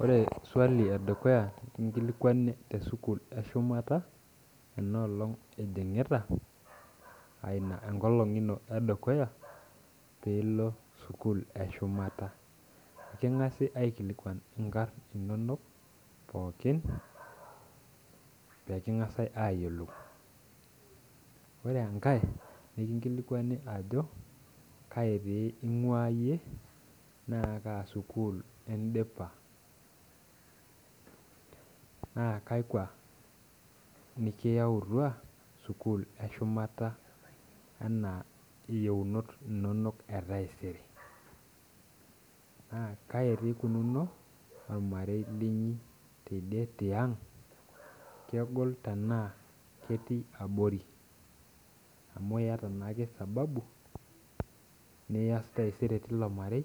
Ore swali edukuya nikingilikuani tesukul edukuya enaalong ijingita aa ina enkolong ino edukuya pilo sukul eshumata, kingasa aikilikuan nkarn inonok pookin pekingasa ayiolou ore enkae nikingilikwani ajo kai ingua na kaa sukul indipa ns kakwa iyawua sukul eshumata anaa yionot inonok etaisere na kaikunari ormarei linyi tiang kegol tanaa ketii abori amu iyata naake sababu tilo marei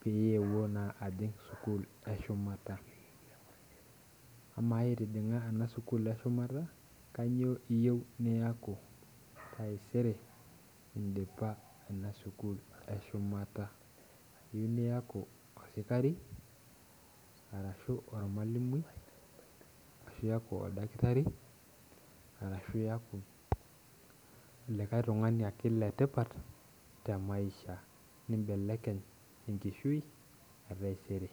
peyieu naa ajing sukul eshumata ama itijinga enasukul eshumata kanyio iyiu niaku taisere indipa inasukul eshumata, iyeu niaku oldakitari ashu ormalimui ashu iaku likae tungani ake letipat nibelekeny enkishui etaisere.